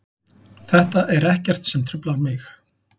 Þetta er ekkert sem truflar mig.